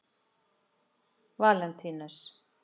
Valentínus